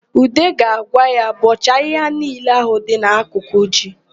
Ude ga-agwa ya, "bọọchaa ahịhịa niile ahụ dị n'akụkụ ji"!